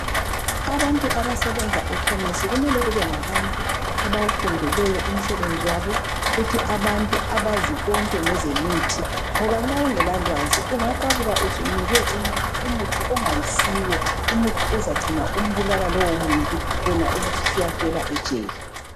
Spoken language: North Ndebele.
Abantu abasebenza ekhemesi kumele kubengabantu abawufundeleyo umsebenzi wabo futhi abantu abazi konke ngezemithi ngoba nxa ungelalwazi ungaqabuka usunike umuntu umuthi ongayisiwo. Umuthi uzagcina umbulala lowomuntu wena ubususiyafela ejele.